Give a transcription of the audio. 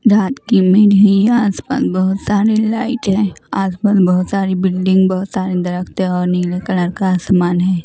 रात की मेरी आसपास बहुत सारी लाइट है आसपास बहुत सारी बिल्डिंग बहुत सारे दरख़्त और नीले कलर का आसमान है।